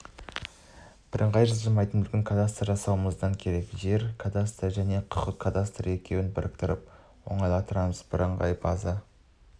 бірыңғай жылжымайтын мүлік кадастрын жасауымыз керек жер кадастры және құқық кадастры екеуін біріктіріп оңтайландырамыз бірыңғай база